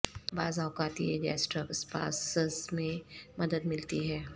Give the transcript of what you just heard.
بعض اوقات یہ گیسٹرک اسپاسز میں مدد ملتی ہے